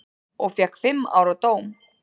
Og fékk fimm ára dóm.